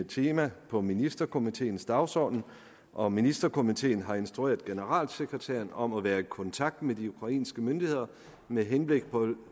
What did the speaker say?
tema på ministerkomiteens dagsorden og ministerkomiteen har instrueret generalsekretæren om at være i kontakt med de ukrainske myndigheder med henblik på